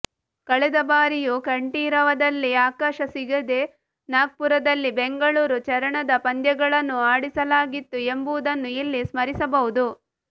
ಕಳೆದ ಬಾರಿಯೂ ಕಂಠೀರವದಲ್ಲಿ ಅವಕಾಶ ಸಿಗದೆ ನಾಗ್ಪುರದಲ್ಲಿ ಬೆಂಗಳೂರು ಚರಣದ ಪಂದ್ಯಗಳನ್ನು ಆಡಿಸಲಾಗಿತ್ತು ಎಂಬುದನ್ನು ಇಲ್ಲಿ ಸ್ಮರಿಸಬಹುದು